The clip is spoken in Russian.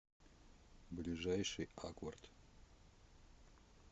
ближайший акварт